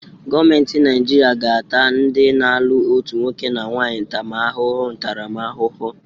Gọọmenti Naijiria ga-ata ndị na-alụ otu nwoke na nwanyị ntaramahụhụ ntaramahụhụ